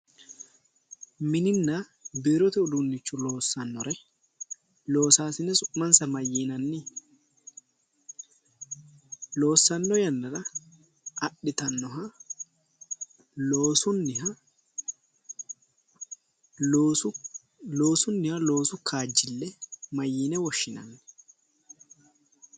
Mininna biirote uduunnicho loossannore loosaasine su'mansa mayiinaanni? Loossanno yannara adhitannoha loosunniha loosu kaajjille mayyiine woshshinanni?